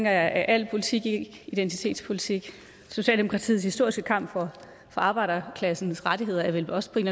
er al politik ikke identitetspolitik socialdemokratiets historiske kamp for arbejderklassens rettigheder er vel også på en